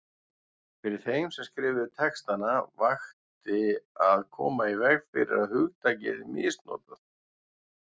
Fyrir þeim sem skrifuðu textana vakti að koma í veg fyrir að hugtakið yrði misnotað.